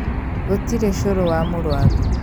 Gũtirĩ cũrũ wa mũrwaru